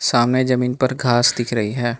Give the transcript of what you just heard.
सामने जमीन पर घास दिख रही है।